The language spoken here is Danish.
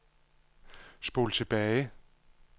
spol tilbage